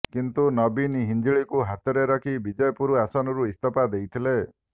କିନ୍ତୁ ନବୀନ ହିଞ୍ଜିଳକୁ ହାତରେ ରଖି ବିଜେପୁର ଆସନରୁ ଇସ୍ତଫା ଦେଇଥିଲେ